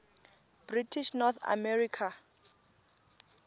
british north america